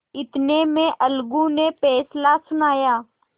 इतने में अलगू ने फैसला सुनाया